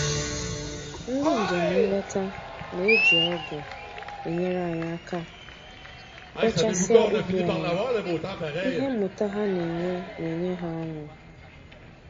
Ndị njem nleta na-eji ọgụ enyere anyị aka bọchasịa ubi anyị, ihe mmụta ha na-enwe na-enye ha ọṅụ